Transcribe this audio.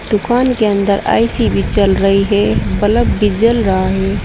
दुकान के अंदर ए_सी भी चल रही है बल्ब भी जल रहा है।